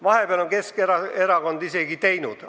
Vahepeal on Keskerakond isegi midagi teinud.